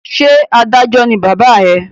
Ṣé adájọ́ ní bàbá ẹ?